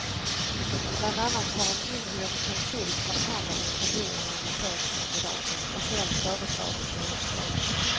Bland annat har en inhyrd konsult haft hand om intervjuerna med chefskandidater och själv föreslagit nya chefer.